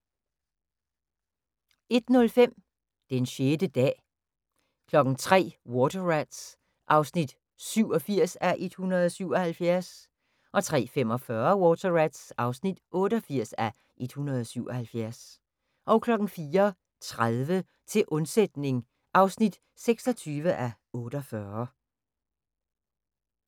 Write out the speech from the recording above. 01:05: Den 6. dag 03:00: Water Rats (87:177) 03:45: Water Rats (88:177) 04:30: Til undsætning (26:48)